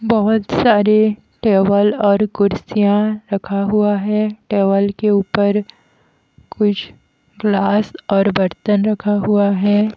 बहुत सारे टेवल और कुर्सियां रखा हुआ है टेवल के ऊपर कुछ ग्लास और बर्तन रखा हुआ है।